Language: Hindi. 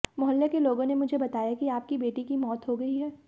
मोहल्ले के लोगों ने मुझे बताया कि आपकी बेटी की मौत हो गई है